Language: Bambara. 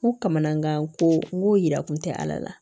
N ko kamamanankan ko n ko yira kun tɛ ala la